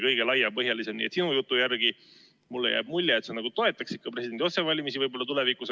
Nii et sinu jutu järgi jääb mulle mulje, et sa nagu toetaks presidendi otsevalimist tulevikus.